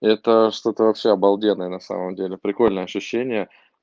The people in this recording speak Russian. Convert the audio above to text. это что-то вообще обалденное на самом деле прикольное ощущение